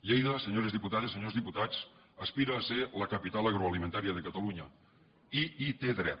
lleida senyores diputades senyors diputats aspira a ser la capital agroalimentària de catalunya i hi té dret